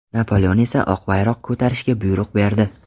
Napoleon esa oq bayroq ko‘tarishga buyruq berdi.